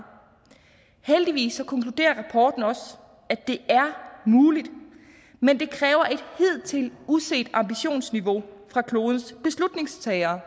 heldigvis konkluderer rapporten også at det er muligt men det kræver et hidtil uset ambitionsniveau fra klodens beslutningstagere